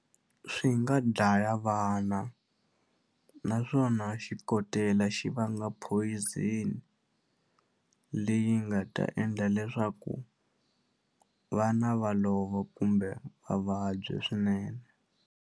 Swi nga dlaya vana naswona xikotela xi vanga poison leyi nga ta endla leswaku vana va lova kumbe va vabya swinene.